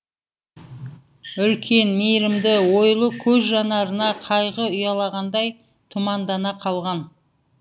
үлкен мейірімді ойлы көз жанарына қайғы ұялағандай тұмандана қалған